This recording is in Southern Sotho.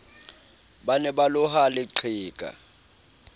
ba ne ba loha leqheka